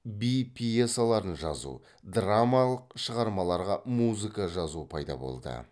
би пьесаларын жазу драмалық шығармаларға музыка жазу пайда болды